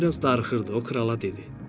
Həm də biraz darıxırdı, o krala dedi.